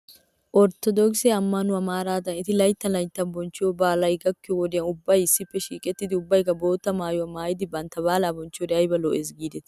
Orttodookise ammanuwaa maaraadan eti layttanlayttan bonchchiyoo baalay gakkiyoo wodiyan ubbay issippe shiiqettidi ubbaykka bootta maayuwaa maayidi bantta baalaa bonchchiyoode ayba lo'es giidetii